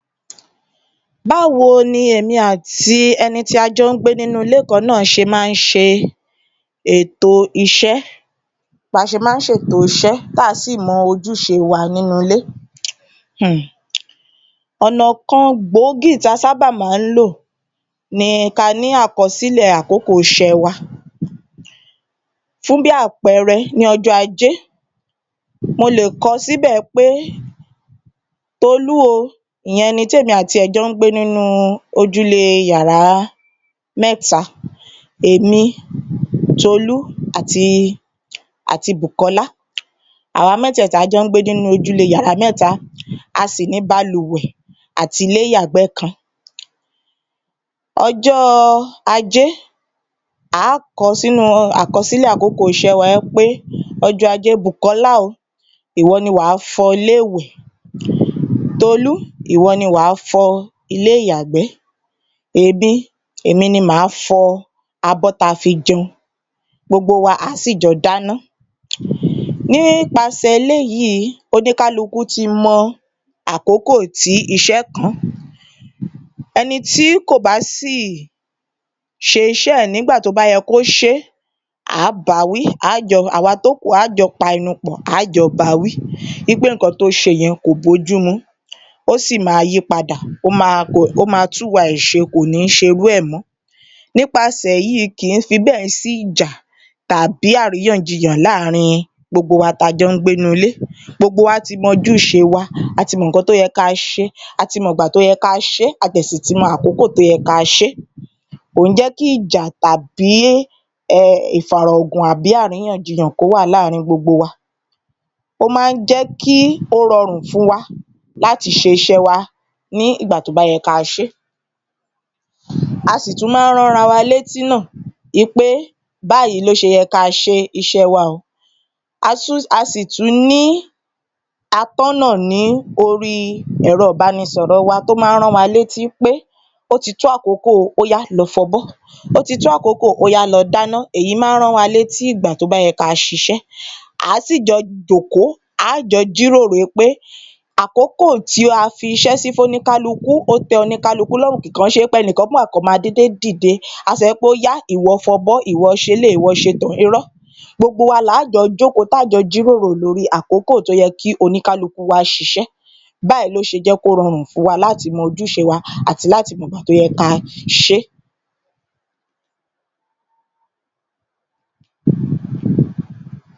Báwo ni èmi àti ẹni tí a jọ́ ń gbé nínú ilé kan náà ṣe máa ń ṣe ètò iṣẹ́ tí à á sì mọ ojúṣe wa nínú ilé? Ọ̀nà kan gbòógì tí a sábà máa ń lò ni ká ní àkọsílẹ̀ àkókò iṣẹ́ wa, fún bí àpẹẹrẹ ní ọjọ́ ajé mo lè kọ síbẹ̀ pé Tolú o, ìyẹn ẹni tí èmi àti rẹ̀ jọ ń gbé nínú ojụ́lé yàrá mẹ́ta Èmi Tolú àti Bùkọ́lá. Àwa mẹ́tẹ̀ẹ̀ta jọ ń gbé nínú ojúlé yàrá mẹ́ta a sì ní balùwẹ̀ àti ilé-yàgbẹ́ kan. Ọjọ́ ajé à á kọ sínú àkọsílẹ̀ àkókò iṣẹ́ wa wí pé ọjọ́ ajé Bùkọ́lá o, ìwọ ni wà á fọ ilé-ìwẹ̀, Tolú ìwọ ni wà á fọ ilé-ìyàgbẹ́, Èmi, èmi ni mà á fọ abọ́ tí a fi jẹun gbogbo wa à á sì jọ dáná. Nípasẹ̀ eléyìí oníkálukú ti mọ akókò tí iṣẹ́ kàn án, ẹni tí kò bá sì ṣe iṣẹ́ ẹ̀ nígbà tí ó bá yẹ kí ó ṣe é, à á ba wí, àwa tó kù a á jọ pa ẹnu pọ̀, à á jọ bawí, wí pé nǹkan tí ó ṣe yẹn kò bójúmu ó sì máa yí pada, ó máa tún ìwà rẹ̀ ṣe kò ní ṣe irú rẹ̀ mọ́, nípasẹ̀ èyí kì í fi bẹ́ẹ̀ sí ìjà tàbí àríyànjiyàn láàárin gbogbo wa tá n jọ́ ń gbé nínú ilé, gbogbo wa ti mọ ojúṣe wa, a ti mọ nǹkan tí ó yẹ kí a ṣe, a ti mọ̀ ìgbà tí ó yẹ kí á ṣe é, a dẹ̀ sí ti mọ àkókò tó yẹ ká ṣe é, kò jẹ́ kí ìjà tàbí ìfàrọ̀gùn àbí àríyànjiyàn kí ó wà láàárin gbogbo wa. Ó máa ń jẹ́ kí ó rọrùn fún wa láti ṣe iṣẹ́ wa, ní ìgbà tí ó bá yẹ kí á ṣe é, a sì tún máa ń rán ara wa léti náà wí pé báyìí ni ó ṣe yẹ kí a ṣe iṣẹ́ ẹ wa, a sì tún ní atọ́nà ní orí ẹ̀rọ ìbánisọ̀rọ̀ wa tó máa ń rán wa létí pé ó ti tó àkókò o, óyá lọ fọbọ́, ó ti tó àkókò, óyá lọ dáná, èyí máa ń rán wa létí ìgbà tí ó bá yẹ kí á ṣisé à á sì jọ jòkó, a á jọ jíròro pé àkókò tí a fi iṣẹ́ fún oníkálukú ó tẹ́ oníkálukú lọ́rùn kì kan ń ṣe wí pé a máa ń ẹnìkan máa dédé dìde á sọ pé óyá ìwọ fọbọ́, ìwọ ṣe eléyìí, ìwọ ṣe tọ̀hún, irọ́, gbogbo wa là á jọ jókòó ta á jọ jíròrò lórí i àkókò tó yẹ kí oníkálukú wa ṣiṣẹ, báyìí ni ó ṣe jẹ́ kí ó rọrùn fún wa láti mọ ojúṣe wa àti láti mọ̀gbà tó yẹ ká a ṣe é.